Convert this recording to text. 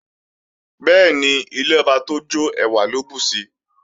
Bẹ́ẹ̀ni, ilé ọba tó jọ́ ẹwà ló bùsi